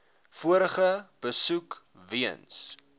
vorige besoek weens